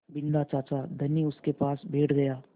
बिन्दा चाचा धनी उनके पास बैठ गया